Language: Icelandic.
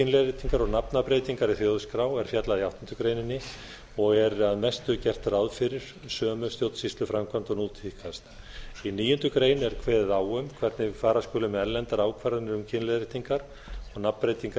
kynleiðréttingar og nafnabreytingar í þjóðskrá er fjallað í áttundu greinar og er að mestu gert ráð fyrir sömu stjórnsýsluframkvæmd og nú tíðkast í níundu grein er kveðið á um hvernig fara skuli með erlendar ákvarðanir um kynleiðréttingar og nafnbreytingar